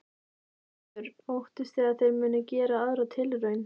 Þorbjörn: Óttist þið að þeir munu gera aðra tilraun?